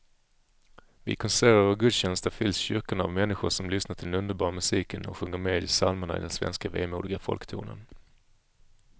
Vid konserter och gudstjänster fylls kyrkorna av människor som lyssnar till den underbara musiken och sjunger med i psalmerna i den svenska vemodiga folktonen.